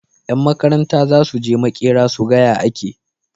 Yan Makaranta zasuje makera suga ya ake